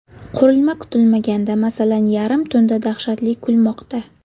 Qurilma kutilmaganda, masalan, yarim tunda dahshatli kulmoqda.